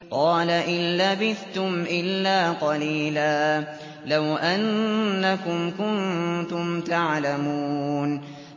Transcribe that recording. قَالَ إِن لَّبِثْتُمْ إِلَّا قَلِيلًا ۖ لَّوْ أَنَّكُمْ كُنتُمْ تَعْلَمُونَ